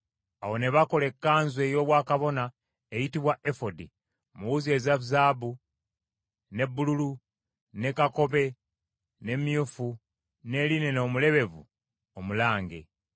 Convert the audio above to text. Awo ne bakola ekkanzu ey’obwakabona eyitibwa efodi mu wuzi eza zaabu, ne bbululu, ne kakobe ne myufu, ne linena omulebevu omulange.